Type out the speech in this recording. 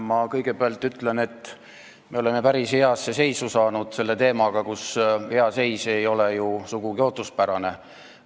Ma kõigepealt ütlen, et me oleme päris heasse seisu jõudnud selle teemaga, kus hea seis ei ole ju sugugi ootuspärane.